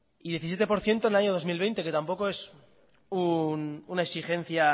y diecisiete por ciento en el año dos mil veinte que tampoco es una exigencia